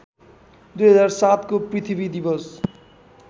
२००७को पृथ्वी दिवस